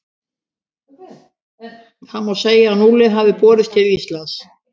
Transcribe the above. Þá má segja að núllið hafi borist til Íslands.